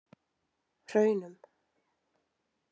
Hraunum